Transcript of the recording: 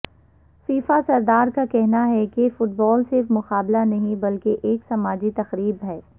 FIFA صدر کا کہنا ہے کہ فٹبال صرف مقابلہ نہیں بلکہ ایک سماجی تقریب ہے